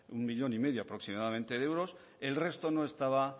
uno cinco millón aproximadamente de euros el resto no estaba